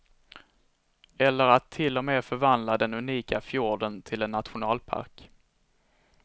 Eller att till och med förvandla den unika fjorden till en nationalpark.